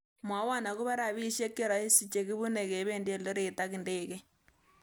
Mwawon agobo rabisiek cheroiisi chegibune kebendi eldoret ak indegeiit